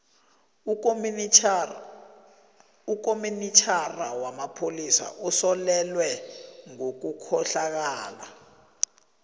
ukomitjhinara wamapholisa usolelwe ngobukhohlakali